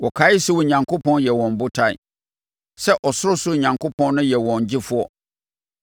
Wɔkaee sɛ Onyankopɔn yɛ wɔn botan, sɛ Ɔsorosoro Onyankopɔn no yɛ wɔn Gyefoɔ.